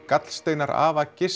gallsteinar afa